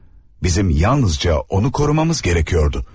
Bizim yalnızca onu korumamız gərəkirdi.